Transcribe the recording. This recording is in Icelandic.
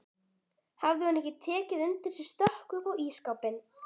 Hafði hún ekki tekið undir sig stökk upp á ísskápinn!